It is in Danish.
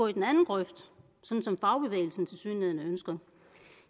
i den anden grøft som som fagbevægelsen tilsyneladende ønsker